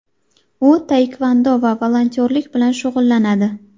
U taekvondo va volontyorlik bilan shug‘ullanadi.